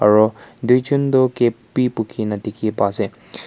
aru duijon tu cap be buki na dikhi pai ase.